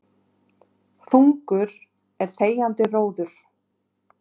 Þungur er þegjandi róður.